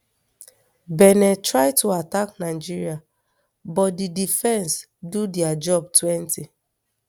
benin try to attack nigeria but di defence do dia job twenty